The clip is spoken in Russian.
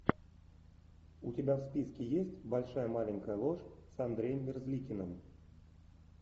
у тебя в списке есть большая маленькая ложь с андреем мерзликиным